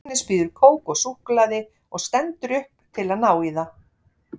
Agnes býður kók og súkkulaði og stendur upp til að ná í það.